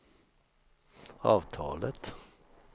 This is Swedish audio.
avtalet